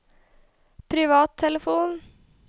privattelefon